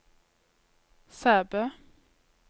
Sæbø